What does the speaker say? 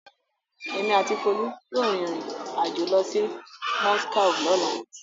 Èmi àti Folú yóò rìnrìn-àjò lọ sí Moscow lọ́la.